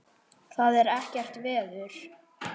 Það er ekkert veður.